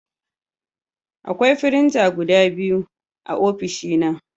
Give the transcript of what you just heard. Akwai firinta guda biyu a ofishina